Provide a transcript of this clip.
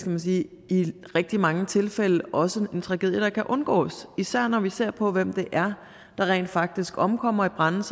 man sige i rigtig mange tilfælde også en tragedie der kan undgås især når vi ser på hvem det er der rent faktisk omkommer i brande